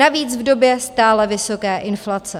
Navíc v době stále vysoké inflace.